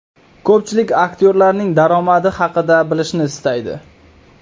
Ko‘pchilik aktyorlarning daromadi haqida bilishni istaydi.